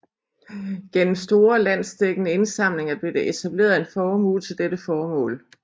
Gennem store landsdækkende indsamlinger blev der etableret en formue til dette formål